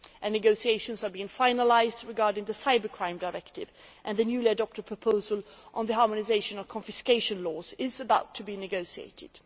Negotiations are being finalised regarding the Cybercrime Directive, and the newly adopted proposal on the harmonisation of confiscation laws is about to be negotiated.